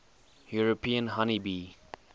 european honey bee